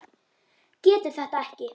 Getur þetta ekki.